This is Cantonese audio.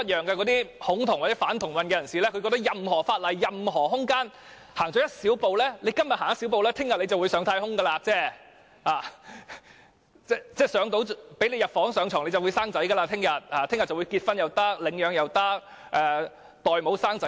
那些恐同或反同人士寸步不讓，認為任何法例、任何空間，只要今天踏出一小步，明天便會上太空；只要讓他們入房上床，明天便會生小孩，既可以結婚，也可以領養、找代母產子等。